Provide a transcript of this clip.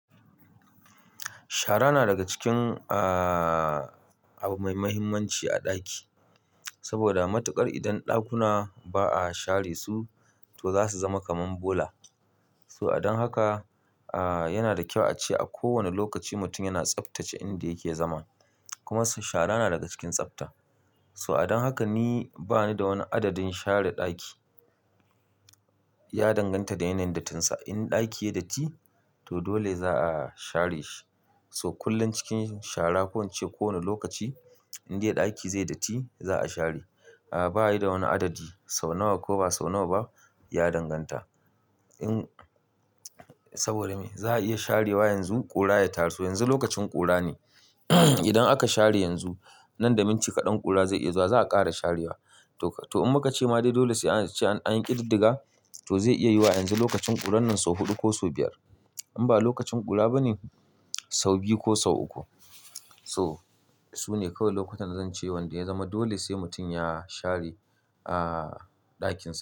Shara na daga cikin abu mai muhimmanci a ɗaki, saboda matuƙar idan ɗakuna ba a share su, to za su zama kaman bola. So adon haka, yana da kyau ace a kowane lokaci mutum yana tsaftace inda yake zama. Kuma shara na daga cikin tsafta. So adon haka ni bani da wani adadin share ɗaki. Ya danganta da yanayin dattinsa. In ɗaki yayi datti, toh dole za a share shi. Toh kullun cikin shara koh ince ko wani lokaci in dai daki zaiyi datti za'a share bayi da wani adadi sau nawa koh ba sau nawa ba ya danganta in saboda me za a iya sharewa yanzu ƙura ya taru. Toh yanzu lokacin kura ne idan aka share yanzu, nan da minti kaɗan ƙura zai iya zuwa za a ƙara sharewa. Toh in muka ce ma dai dole sai an ce an yi ƙididdiga, toh zai iya yiwu wa a yanzu lokacin ƙuran nan sau huɗu ko sau biyar. In ba lokacin ƙura ba ne, sau biyu ko sau uku. Toh sune kawai lokutan da zan ce wanda ya zama dole sai mutum ya share ɗakin sa.